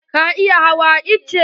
Ka iya hawan itace?